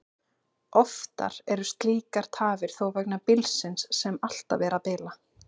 Oftar eru slíkar tafir þó vegna bílsins, sem alltaf er að bila.